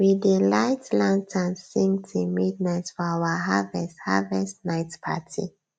we dey light lanterns sing till midnight for our harvest harvest night party